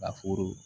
Ka foro